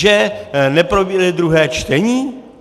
Že neproběhne druhé čtení?